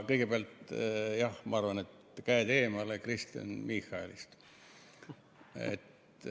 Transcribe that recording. Kõigepealt, jah, ma arvan, et käed eemale Kristen Michalist.